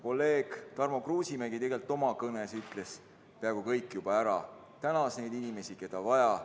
Kolleeg Tarmo Kruusimäe tegelikult oma kõnes ütles peaaegu kõik juba ära, tänas neid inimesi, keda vaja.